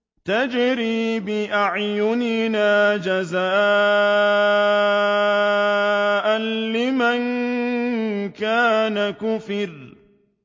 تَجْرِي بِأَعْيُنِنَا جَزَاءً لِّمَن كَانَ كُفِرَ